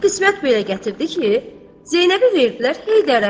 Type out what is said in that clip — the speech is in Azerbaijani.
Axırı qismət belə gətirdi ki, Zeynəbi verdilər Heydərə.